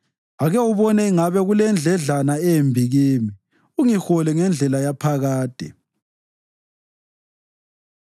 Ake ubone ingabe kulendledlana embi kimi, ungihole ngendlela yaphakade.